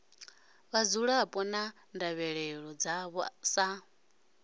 vhadzulapo na ndavhelelo dzavho sa